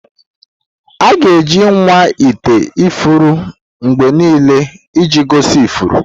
Aga-eji nwa ite ifuru mgbe niile iji gosi ifuru.